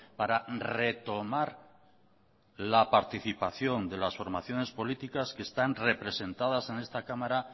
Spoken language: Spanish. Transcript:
para retomar la participación de las formaciones políticas que están representadas en esta cámara